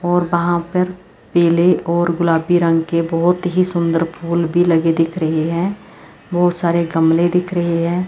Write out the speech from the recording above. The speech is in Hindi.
और वहां पर पीले और गुलाबी रंग के बहोत ही सुंदर फूल भी लगे दिख रहे है बहोत सारे गमले दिख रहे है।